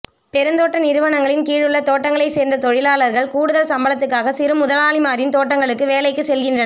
பெருந்தோட்ட நிறுவனங்களின் கீழுள்ள தோட்டங்களைச் சேர்ந்த தொழிலாளர்கள் கூடுதல் சம்பளத்துக்காக சிறு முதலாளிமாரின் தோட்டங்களுக்கு வேலைக்குச் செல்கின்றனர்